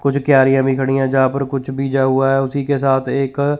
कुछ क्यारियां भी खड़ी हैं जहां पर कुछ बीजा हुआ है उसी के साथ एक--